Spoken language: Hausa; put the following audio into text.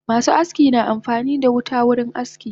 Masu aski na amfanidashi wuta wurin aski